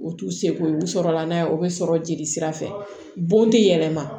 U t'u seko ye u sɔrɔla n'a ye o bɛ sɔrɔ jeli sira fɛ bon tɛ yɛlɛma